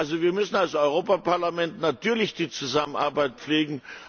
Also, wir müssen als Europaparlament natürlich die Zusammenarbeit pflegen.